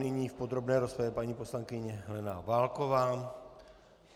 Nyní v podrobné rozpravě paní poslankyně Helena Válková.